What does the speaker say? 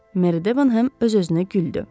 Meri Debenham öz-özünə güldü.